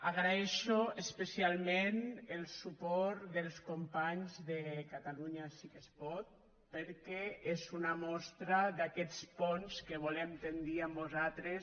agraeixo especialment el suport dels companys de catalunya sí que es pot perquè és una mostra d’aquests ponts que volem tendir amb vosaltres